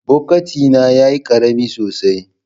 Bokitina yayi karami sosai.